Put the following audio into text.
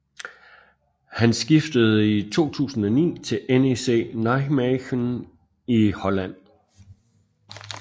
Han skiftede i 2009 til NEC Nijmegen i Holland